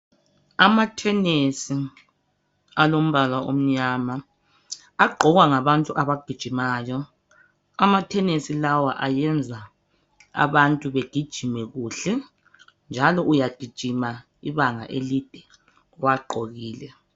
Amathenisi alombala omnyama agqokwa ngabantu abagijimayo, amathenisi lawa ayenza abantu begijime kuhle njalo uyagijima ibanga elide uwagqokile.